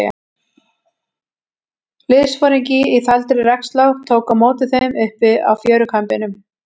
Liðsforingi í þvældri regnslá tók á móti þeim uppi á fjörukambinum.